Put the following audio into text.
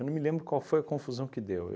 Eu não me lembro qual foi a confusão que deu.